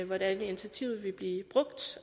hvordan initiativet vil blive brugt